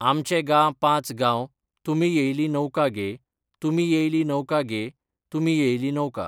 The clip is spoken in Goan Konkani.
आमचे गा पांच गांव तुमी येयली नौका गे, तुमी येयली नौका गे तुमी येयली नौका